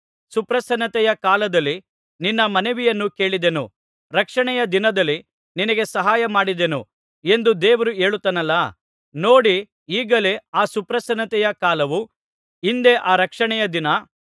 ಸುಪ್ರಸನ್ನತೆಯ ಕಾಲದಲ್ಲಿ ನಿನ್ನ ಮನವಿಯನ್ನು ಕೇಳಿದೆನು ರಕ್ಷಣೆಯ ದಿನದಲ್ಲಿ ನಿನಗೆ ಸಹಾಯ ಮಾಡಿದೆನು ಎಂದು ದೇವರು ಹೇಳುತ್ತಾನಲ್ಲಾ ನೋಡಿ ಈಗಲೇ ಆ ಸುಪ್ರಸನ್ನತೆಯ ಕಾಲವು ಇಂದೇ ಆ ರಕ್ಷಣೆಯ ದಿನ